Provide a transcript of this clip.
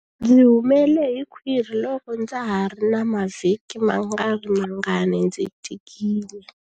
Ndzi humele hi khwiri loko ndza ha ri na mavhiki mangarimangani ndzi tikile.